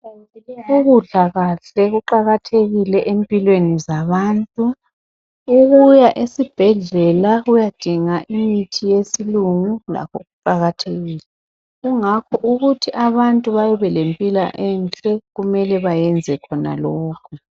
Ukudla kahle kuqakathekile empilweni zabantu ukuya esibhedlela ukuyadinga imithi yesilungu lakho kuqakathekile kungakho ukuthi abantu babelempila enhle kumele bayeze khona lokhu.